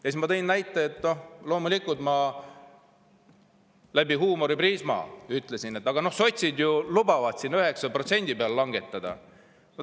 Siis ma loomulikult läbi huumoriprisma ütlesin, et aga sotsid ju lubavad 9% peale langetada.